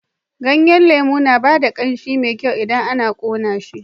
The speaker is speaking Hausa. Ganyen lemu na ba da ƙanshi mai kyau idan ana ƙone shi.